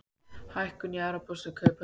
Hækkun í evrópskum kauphöllum